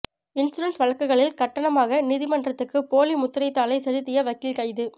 insurance வழக்குகளில் கட்டணமாக நீதிமன்றத்துக்கு போலி முத்திரைத்தாளை செலுத்திய வக்கீல் கைது